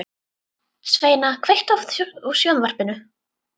Sveina, kveiktu á sjónvarpinu.